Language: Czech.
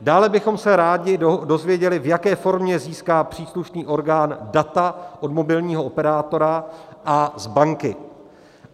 Dále bychom se rádi dozvěděli, v jaké formě získá příslušný orgán data od mobilního operátora a z banky.